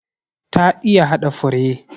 Ta iya hada fure.